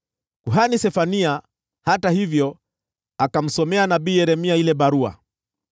Kuhani Sefania, hata hivyo, akamsomea nabii Yeremia ile barua.